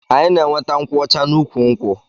Anyi na enweta nkwụ ọcha na ukwu nkwụ.